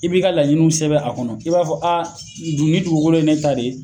I b'i ka laɲiniw sɛbɛn a kɔnɔ i b'a fɔ dun nin dugukolo in ye ne ta de ye.